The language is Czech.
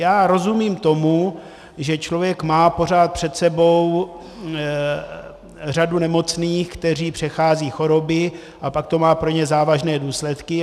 Já rozumím tomu, že člověk má pořád před sebou řadu nemocných, kteří přecházejí choroby, a pak to má pro ně závažné důsledky.